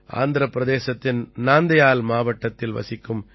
ஆந்திரப் பிரதேசத்தின் நாந்தயால் மாவட்டத்தில் வசிக்கும் கே